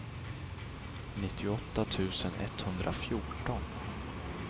nittioåtta tusen etthundrafjorton